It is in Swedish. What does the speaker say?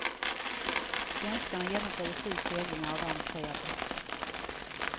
Svenskarna genomförde sju seglingar och vann tre av dessa.